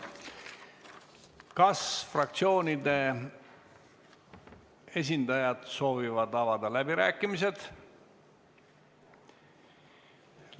Kas fraktsioonide esindajad soovivad avada läbirääkimised?